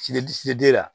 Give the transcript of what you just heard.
Sidi si fili den la